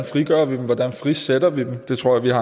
frigør dem hvordan vi frisætter dem det tror jeg